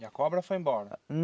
E a cobra foi embora?